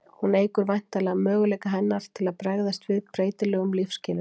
hún eykur væntanlega möguleika hennar til að bregðast við breytilegum lífsskilyrðum